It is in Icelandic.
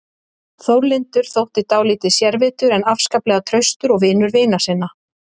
Þórlindur þótti dálítið sérvitur en afskaplega traustur og vinur vina sinna.